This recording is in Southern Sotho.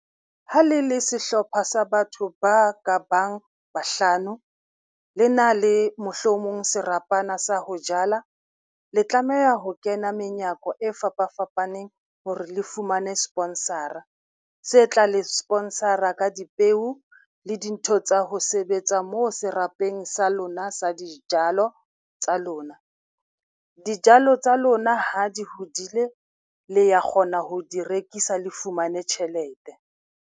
Ha le le sehlopha sa batho ba ka bang bahlano, le na le mohlomong serapana sa ho jala. Le tlameha ho kena menyako e fapafapaneng hore le fumane sponsor-a se tla le sponsor-a ka dipeo le dintho tsa ho sebetsa moo serapeng sa lona sa dijalo tsa lona. Dijalo tsa lona ha di hodile, le ya kgona ho di rekisa le fumane tjhelete.